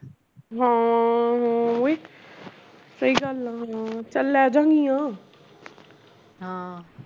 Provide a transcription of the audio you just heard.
ਹਾਂ ਹਾਂ ਉਏ ਸਹੀ ਗੱਲ ਆ ਚੱਲ ਲੈਜਾਂਗੀਆ